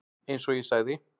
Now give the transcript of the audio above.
Eins og ég sagði.